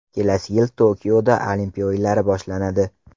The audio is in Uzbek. Kelasi yil Tokioda Olimpiya o‘yinlari boshlanadi.